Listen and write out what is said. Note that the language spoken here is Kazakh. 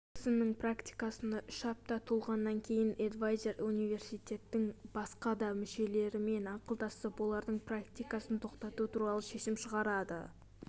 джексонның практикасына үш апта толғаннан кейін эдвайзер университеттің басқа да мүшелерімен ақылдасып олардың практикасын тоқтату туралы шешім шығарады